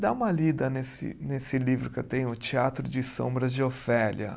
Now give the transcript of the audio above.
Dá uma lida nesse nesse livro que eu tenho, o Teatro de Sombras de Ofélia.